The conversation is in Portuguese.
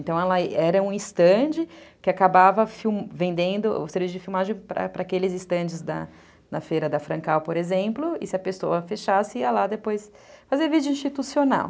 Então, era um estande que acabava vendendo o serviço de filmagem para aqueles estandes na feira da Francal, por exemplo, e se a pessoa fechasse, ia lá depois fazer vídeo institucional.